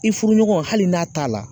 I furuɲɔgɔn hali n'a t'a la